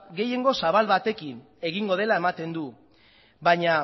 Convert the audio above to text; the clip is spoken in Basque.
gehiengo zabal batekin egingo dela ematen du baina